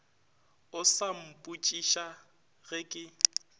o sa mpotšiša ge ke